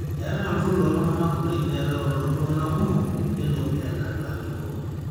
eetai olturrur looltung'anak kuti neetai olooltung'anak kumok nelo enaa induaat ilo turrur